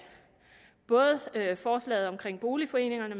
både forslaget om boligforeningerne